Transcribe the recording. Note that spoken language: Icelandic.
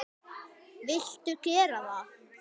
Viltu gera það?